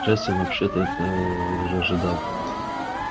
джастин вообще-то это ожидал